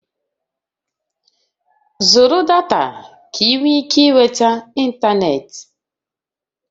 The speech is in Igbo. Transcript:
Zụrụ data ka ị nwee ike ịnweta ịntanetị!